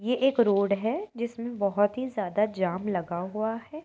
ये एक रोड है जिसमें की बोहोत ही ज्यादा जाम लगा हुआ है।